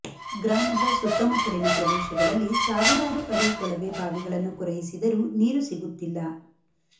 ಗ್ರಾಮದ ಸುತ್ತಮುತ್ತಲಿನ ಪ್ರದೇಶಗಳಲ್ಲಿ ಸಾವಿರಾರು ಅಡಿ ಕೊಳವೆ ಬಾವಿಗಳನ್ನು ಕೊರೆಯಿಸಿದರೂ ನೀರು ಸಿಗುತ್ತಿಲ್ಲ